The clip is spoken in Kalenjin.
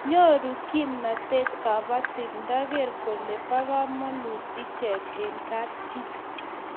Nyoru kimnatet kabatik nda ger kole po kamanut ichet eng' kapchii